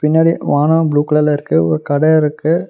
பின்னாடி வானம் ப்ளூ கலர்ல இருக்கு ஒரு கட இருக்கு.